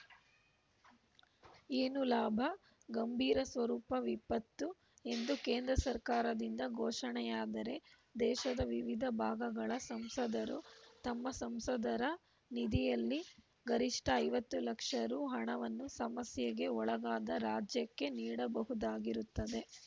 ಏನು ಲಾಭ ಗಂಭೀರ ಸ್ವರೂಪ ವಿಪತ್ತು ಎಂದು ಕೇಂದ್ರ ಸರ್ಕಾರದಿಂದ ಘೋಷಣೆಯಾದರೆ ದೇಶದ ವಿವಿಧ ಭಾಗಗಳ ಸಂಸದರು ತಮ್ಮ ಸಂಸದರ ನಿಧಿಯಲ್ಲಿ ಗರಿಷ್ಠ ಐವತ್ತು ಲಕ್ಷ ರು ಹಣವನ್ನು ಸಮಸ್ಯೆಗೆ ಒಳಗಾದ ರಾಜ್ಯಕ್ಕೆ ನೀಡಬಹುದಾಗಿರುತ್ತದೆ